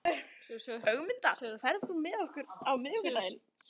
Ögmunda, ferð þú með okkur á miðvikudaginn?